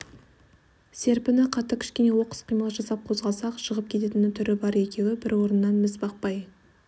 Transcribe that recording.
серпіні қатты кішкене оқыс қимыл жасап қозғалса-ақ жығып кететін түрі бар екеуі бір орыннан міз бақпай